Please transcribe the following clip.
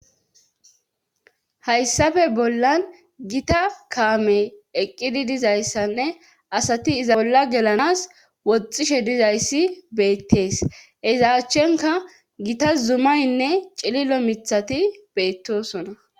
hayssafe bollan gita kaamey eqqidi dizayssanne asati iza bolla gelanas woxishe dizayssi beettees ezaachchenka gita zumaynne cililo mithati beettosona